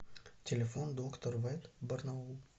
телефон доктор вет барнаул